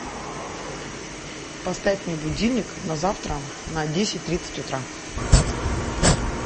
поставь мне будильник на завтра на десять тридцать утра